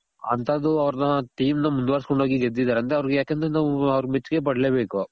ಅಂತದ್ದು ಅವರ್ನ team ನ ಮುಂದ್ವರ್ಸ್ ಕೊಂಡು ಹೋಗಿ ಗೆದ್ದಿದಾರೆ ಅಂದ್ರೆ ಅವರ್ಗೆ ಯಾಕಂದ್ರೆ ನಾವು ಅವರ್ಗೆ ಮೆಚ್ಚುಗೆ ಪಡ್ಲೆ ಬೇಕು.